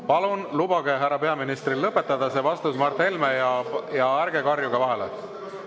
Palun lubage härra peaministril see vastus lõpetada, Mart Helme, ja ärge karjuge vahele.